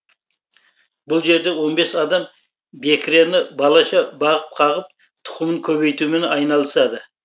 бұл жерде он бес адам бекірені балаша бағып қағып тұқымын көбейтумен айналысады